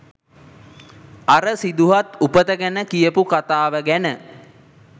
අර සිදුහත් උපත ගැන කියපු කතාව ගැන